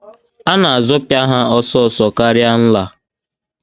A na - azọpịa ha ọsọ ọsọ karịa nla.